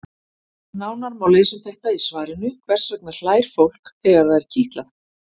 Nánar má lesa um þetta í svarinu Hvers vegna hlær fólk þegar það er kitlað?